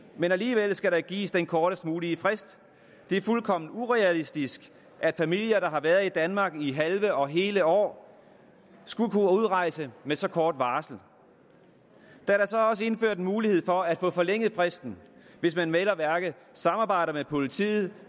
men alligevel skal der gives den kortest mulige frist det er fuldkommen urealistisk at familier der har været i danmark i halve og hele år skulle kunne udrejse med så kort varsel der er så også indført en mulighed for at få forlænget fristen hvis man vel at mærke samarbejder med politiet